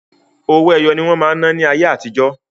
Owó ẹyọ ní wọ́n máa ń ná ní ayé àti jọ́.